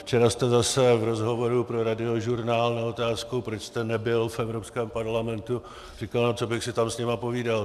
Včera jste zase v rozhovoru pro Radiožurnál na otázku, proč jste nebyl v Evropském parlamentu, říkal: No co bych si tam s nimi povídal.